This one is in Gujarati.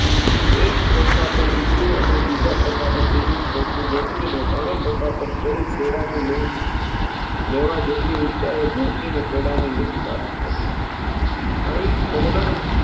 એક ખોખા પર બીજું અને બીજા ખોખા પર ત્રીજું ખોખું ગોઠવીને તનેય ખોખા પર ચડી કેળાની લૂમ લેવાજેટલી ઉંચાઈએ પહોંચીને કેળાની લૂમ પ્રાપ્ત કરી અહીં કહલોર